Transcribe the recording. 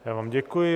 Já vám děkuji.